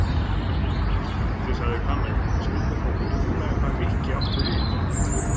Skrýtið sagði Kamilla en skildi þó fullkomlega hvað Nikki átti við.